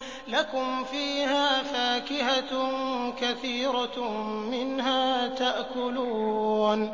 لَكُمْ فِيهَا فَاكِهَةٌ كَثِيرَةٌ مِّنْهَا تَأْكُلُونَ